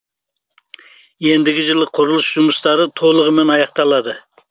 ендігі жылы құрылыс жұмыстары толығымен аяқталады